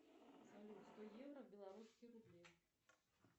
салют сто евро в белорусские рубли